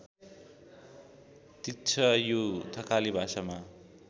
तिच्छयु थकाली भाषामा